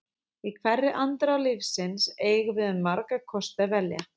Í hverri andrá lífsins eigum við um marga kosti að velja.